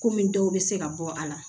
Komi dɔw bɛ se ka bɔ a la